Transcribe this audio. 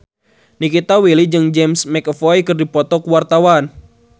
Nikita Willy jeung James McAvoy keur dipoto ku wartawan